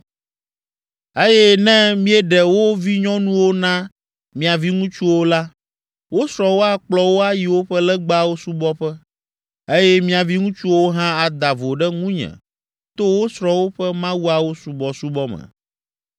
Eye ne míeɖe wo vinyɔnuwo na mia viŋutsuwo la, wo srɔ̃wo akplɔ wo ayi woƒe legbawo subɔƒewo, eye mia viŋutsuawo hã ada vo ɖe ŋunye to wo srɔ̃wo ƒe mawuawo subɔsubɔ me.